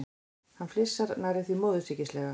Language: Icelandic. Hann flissar, nærri því móðursýkislega.